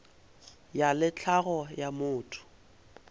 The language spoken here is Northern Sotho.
ya le tlhago ya motho